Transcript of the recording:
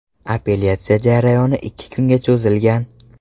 Apellyatsiya jarayoni ikki kunga cho‘zilgan.